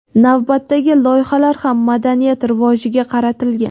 navbatdagi loyihalar ham madaniyat rivojiga qaratilgan.